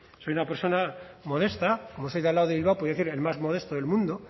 soy una persona modesta como soy de al lado de bilbao pues voy a decir el más modesto del mundo